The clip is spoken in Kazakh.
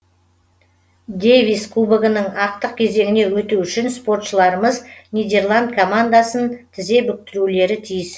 дэвис кубогінің ақтық кезеңіне өту үшін спортшыларымыз нидерланд командасын тізе бүктірулері тиіс